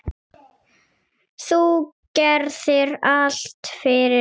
Þú gerðir allt fyrir okkur.